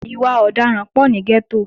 Ìwà ọ̀daràn pọ̀ ní gẹ́tò